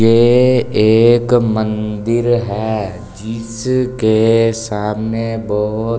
ये एक मंदिर है जिसके सामने बहोत --